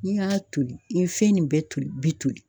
N'i y'a toli i ye fɛn nin bɛɛ toli bi toli